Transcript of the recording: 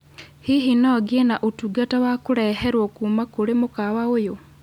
hihi no ngĩe na ũtungata wa kũreherwo kuuma kũrĩ mũkawa ũyũ